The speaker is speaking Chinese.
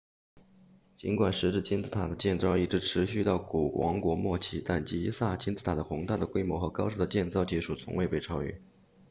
尽管石制金字塔的建造一直持续到古王国末期但吉萨金字塔的宏大的规模和高超的建造技术从未被超越